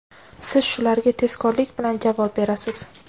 Siz shularga tezkorlik bilan javob berasiz.